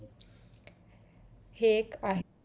हे एक आहे